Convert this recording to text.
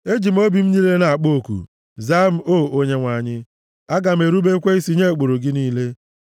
Eji m obi m niile na-akpọ oku; zaa m o Onyenwe anyị, aga m erubekwa isi nye ụkpụrụ gị niile.